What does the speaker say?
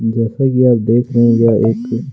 जैसा कि आप देख रहे है यह एक